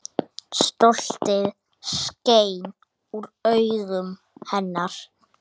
Stoltið skein úr augum hennar.